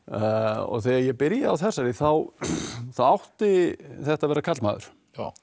og þegar ég byrjaði á þessari þá þá átti þetta að vera karlmaður